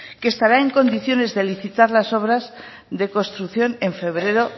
que estará en condiciones de licitar las obras de construcción en febrero